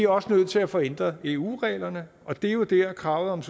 også nødt til at få ændret eu reglerne og det er jo der kravet om